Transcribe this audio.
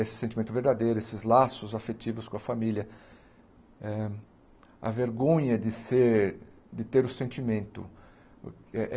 Esse sentimento verdadeiro, esses laços afetivos com a família, eh a vergonha de ser de ter o sentimento eh.